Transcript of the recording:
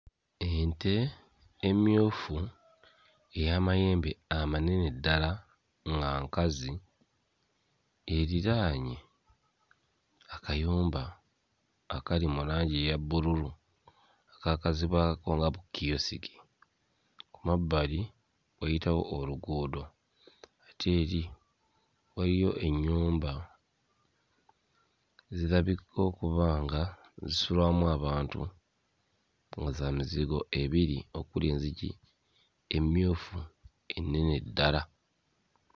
Ente emmyufu ey'amayembe amanene ddala nga nkazi eriraanye akayumba akali mu langi eya bbululu akaakazibwako nga kkiyosiki. Ku mabbali wayitawo oluguudo ate eri waliyo ennyumba zirabika okuba nga zisulwamu abantu nga za mizigo ebiri okuli enzigi emmyufu ennene ddala.